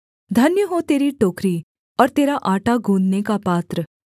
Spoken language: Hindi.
धन्य हो तेरी टोकरी और तेरा आटा गूँधने का पात्र